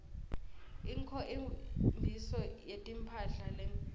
inkho mbiso yetimphla letinsha